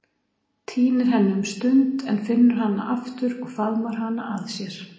Týnir henni um stund en finnur hana aftur og faðmar hana að sér.